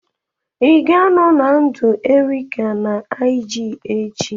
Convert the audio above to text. Ị ga-anọ na ndụ Erica na IG echi?